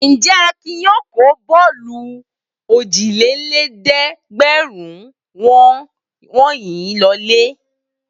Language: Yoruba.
Ǹjẹ́ Akin yóò kó bọ́ọ́lù ójìlélẹ́ẹ̀dẹ́gbẹ̀rún wọ̀nyí lọlé?